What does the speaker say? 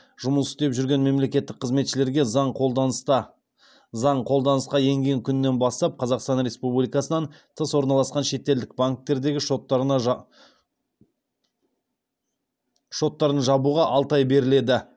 жұмыс істеп жүрген мемлекеттік қызметшілерге заң қолданысқа енген күннен бастап қазақстан республикасынан тыс орналасқан шетелдік банктердегі шоттарын жабуға алты ай беріледі